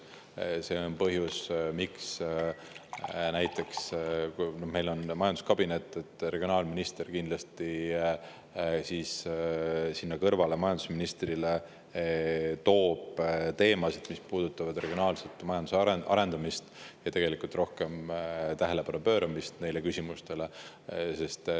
See on põhjus, miks näiteks siis, kui meil on majanduskabinet, toob regionaalminister majandusministrile kindlasti lauale teemasid, mis puudutavad regionaalset majanduse arendamist ja rohkema tähelepanu pööramist neile küsimustele.